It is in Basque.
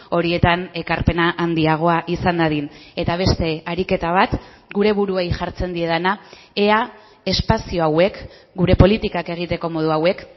horietan ekarpena handiagoa izan dadin eta beste ariketa bat gure buruei jartzen diedana ea espazio hauek gure politikak egiteko modu hauek